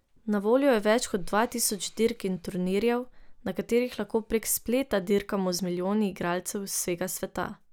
Na voljo je več kot dva tisoč dirk in turnirjev, na katerih lahko prek spleta dirkamo z milijoni igralcev z vsega sveta.